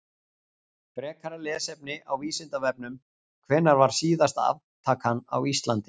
Frekara lesefni á Vísindavefnum: Hvenær var síðasta aftakan á Íslandi?